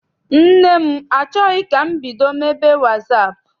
Nne m achọghị ka m bido mebe wasaapụ.